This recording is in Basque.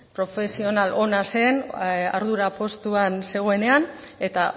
profesional ona zen ardura postuan zegoenean eta